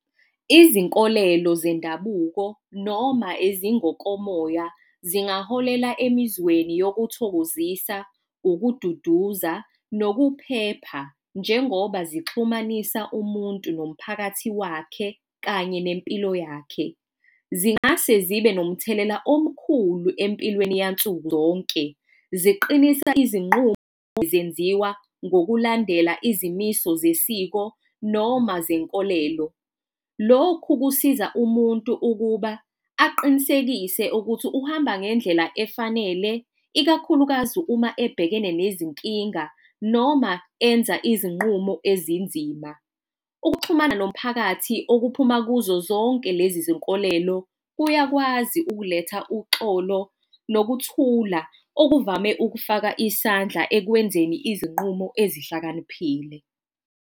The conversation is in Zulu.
Izinkolelo zendabuko noma ezingokomoya zingaholela emizweni yokuthokozisa, ukududuza, nokuphepha. Njengoba zixhumanisa umuntu nomphakathi wakhe, kanye nempilo yakhe, zingase zibe nomthelela omkhulu empilweni nsuku zonke, ziqinisa izinqumo zenziwa ngokulandela izimiso zesiko noma zenkolelo. Lokhu kusiza umuntu ukuba aqinisekise ukuthi uhamba ngendlela efanele, ikakhulukazi uma ebhekene nezinkinga noma enza izinqumo ezinzima. Ukuxhumana nomphakathi okuphuma kuzo zonke lezi izinkolelo, kuyakwazi ukuletha uxolo, nokuthula, okuvame ukufaka isandla ekwenzeni izinqumo ezihlakaniphile.